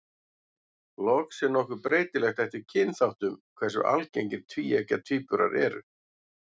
Loks er nokkuð breytilegt eftir kynþáttum hversu algengir tvíeggja tvíburar eru.